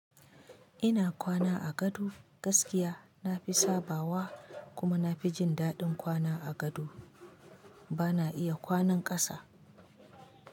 Ina kwana a gado gaskiya na fi sabawa kuma na fi jin dadin kwana a gado. Bana iya kwanan kasa.